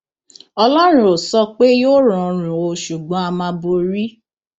ọlọrun ò sọ pé yóò rọrùn o ṣùgbọn á máa borí